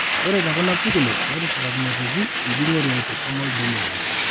Ore tekuna pukunot netisipakinoteki enjung'ore e autosomal dominant.